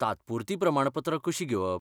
तात्पुरतीं प्रमाणपत्रां कशीं घेवप?